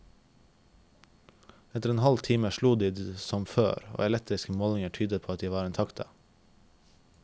Etter en halv time slo de som før, og elektriske målinger tyder på at de var intakte.